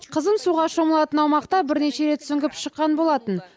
қызым суға шомылатын аумақта бірнеше рет сүңгіп шыққан болатын